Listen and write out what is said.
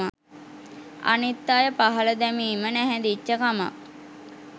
අනිත් අය පහල දැමීම නැහැදිච්ච කමක්.